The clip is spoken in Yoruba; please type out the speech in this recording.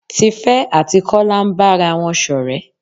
Tífé àti Kola ń bára wọn ṣọ̀rẹ́.